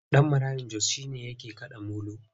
Ɗan maraya Jos shi ne yake kaɗa molo.